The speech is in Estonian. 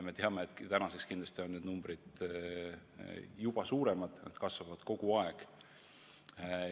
Me teame, et tänaseks on need numbrid kindlasti juba suuremad, need kasvavad kogu aeg.